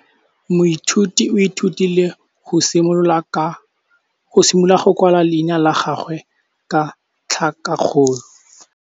Moithuti o ithutile go simolola go kwala leina la gagwe ka tlhakakgolo.